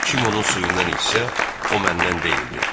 Kim onun suyundan içsə, o məndən deyildir.